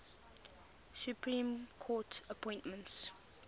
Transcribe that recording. supreme court appointments